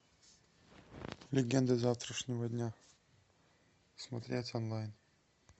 легенды завтрашнего дня смотреть онлайн